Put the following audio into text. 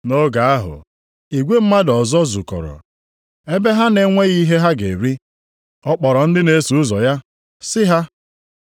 Nʼoge ahụ, igwe mmadụ ọzọ zukọrọ. Ebe ha na-enweghị ihe ha ga-eri, ọ kpọrọ ndị na-eso ụzọ ya sị ha,